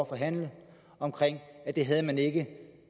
forhandle om at det havde man ikke